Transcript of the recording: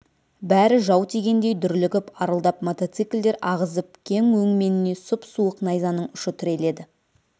бәрі жау тигендей дүрлігіп арылдап мотоциклдер ағызып кеп өңменіне сұп-суық найзаның ұшы тіреледі